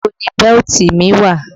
Ibo ni bẹ́lítì mi wà?